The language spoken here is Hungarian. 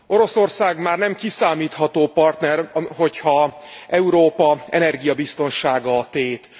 Oroszország már nem kiszámítható partner, hogyha Európa energiabiztonsága a tét.